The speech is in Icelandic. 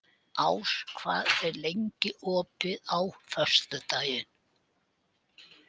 Ás, hvað er opið lengi á föstudaginn?